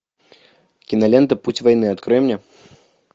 кинолента путь войны открой мне